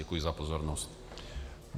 Děkuji za pozornost.